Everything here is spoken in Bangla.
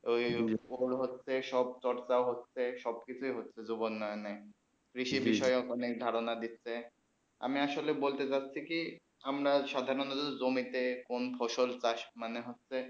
হচ্ছে সব চর্চা হচ্ছেই সব কিছু হচ্ছে জীবাক্যজ্ঞে কৃষি বিষয়ে অনেক ধারণা দিচ্ছে আমি আসলে বলতেচাচ্ছি কি আমরা স্বাদানতো জমিন তে কোন ফসল চাষ মানে হচ্ছে